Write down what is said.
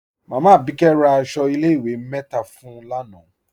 Máámá Abíkẹ̀ rá àṣọ ilẹ̀-ìwé mẹ́ta fún ń lánà.